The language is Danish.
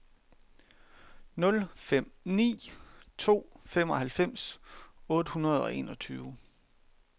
nul fem ni to femoghalvfems otte hundrede og enogtyve